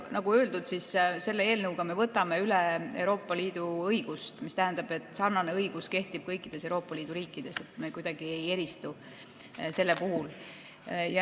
Nagu öeldud, selle eelnõuga me võtame üle Euroopa Liidu õigust, mis tähendab, et sarnane õigus kehtib kõikides Euroopa Liidu riikides, me kuidagi ei eristu sellel puhul.